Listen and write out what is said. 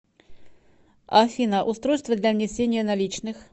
афина устройство для внесения наличных